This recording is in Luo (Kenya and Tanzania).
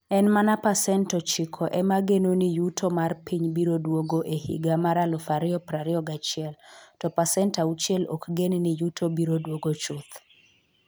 En mana pasent ochiko ema geno ni yuto mar piny biro duogo e higa mar 2021, to pasent auchiel ok gen ni yuto biro duogo chuth.